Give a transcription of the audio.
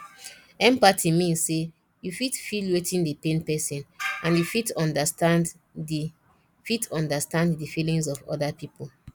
empathy mean say you fit feel wetin dey pain person and you fit understand di fit understand di feelings of oda pipo